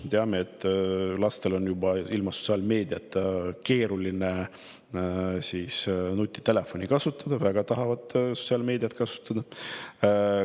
Me teame, et lastel on ilma sotsiaalmeediata juba keeruline nutitelefoni kasutada, nad väga tahavad kasutada just sotsiaalmeediat.